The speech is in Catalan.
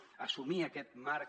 d’assumir aquest marc